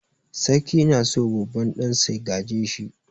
Sarki na so babban ɗansa ya gaje shi.